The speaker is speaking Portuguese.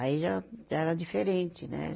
Aí já, já era diferente, né?